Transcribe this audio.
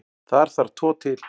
Þar þarf tvo til.